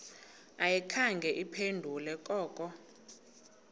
ayikhange iphendule koko